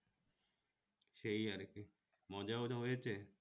সেই আর কি মজা ও হয়েছে